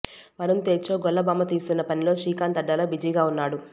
వరుణ్ తేజ్ తో గొల్లభామ తీస్తున్న పనిలో శ్రీకాంత్ అడ్డాల బిజీగా వున్నాడు